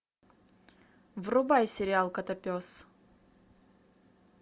врубай сериал котопес